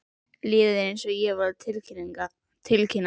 Liðið er eins og ég var að tilkynna.